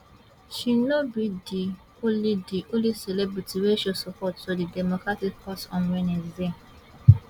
she no be di only di only celebrity wey show support to di democratic cause on wednesday